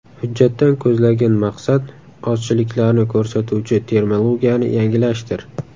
Hujjatdan ko‘zlangan maqsad ozchiliklarni ko‘rsatuvchi terminologiyani yangilashdir.